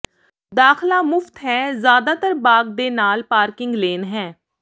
ਦਾਖਲਾ ਮੁਫ਼ਤ ਹੈ ਜ਼ਿਆਦਾਤਰ ਬਾਗ ਦੇ ਨਾਲ ਪਾਰਕਿੰਗ ਲੇਨ ਹੈ